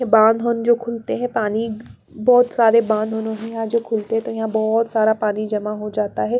ये बाँध होन जो खुलते हैं पानी बहुत सारे बाँध होनों जो खुलते हैं तो यहाँ बहुत सारा पानी जमा हो जाता है।